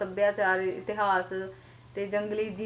ਸੱਭਿਆਚਾਰ ਇਤਿਹਾਸ ਤੇ ਜੰਗਲੀ ਜੀਵ ਜਿਦਾਂ ਕੇ